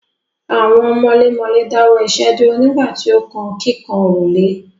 Àwọn mọlémọlẹ́ dáwọ́ iṣẹ́ dúró nígbà tí ó kan kíkan òrùlé.